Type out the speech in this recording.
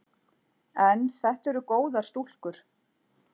En þetta eru góðar stúlkur.